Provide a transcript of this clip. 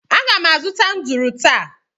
Aga m azụta nduru taa